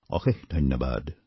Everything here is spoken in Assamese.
অশেষ ধন্যবাদ